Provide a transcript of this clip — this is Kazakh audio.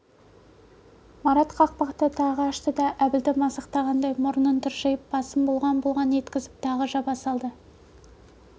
марат қақпақты тағы ашты да әбілді мазақтағандай мұрнын тыржитып басын бұлғаң-бұлғаң еткізіп тағы жаба салды